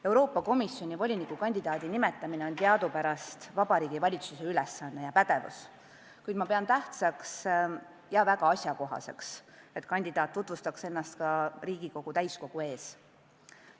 Euroopa Komisjoni voliniku kandidaadi nimetamine on teadupärast Vabariigi Valitsuse pädevuses, kuid ma pean tähtsaks ja väga asjakohaseks, et kandidaat tutvustaks ennast ka Riigikogu täiskogu ees.